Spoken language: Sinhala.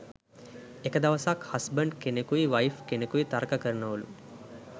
එක දවසක් හස්බන්ඩ් කෙනෙකුයි වයිෆ් කෙනෙකුයි තර්ක කරනවලු